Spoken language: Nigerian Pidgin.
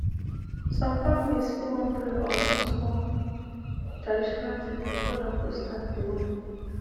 some families fit wan pray or do small traditional thing before doctor start the work